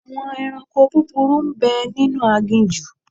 Àwọn ẹranko búburú ń bẹ nínú aginjù.